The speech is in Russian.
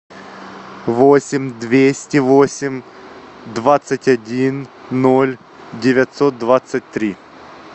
восемь двести восемь двадцать один ноль девятьсот двадцать три